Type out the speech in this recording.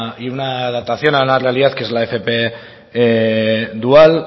y una adaptación a la realidad que es la fp dual